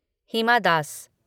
हिमा दस